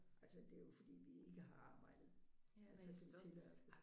Altså det er jo fordi vi ikke har arbejdet at vi kan tillade os det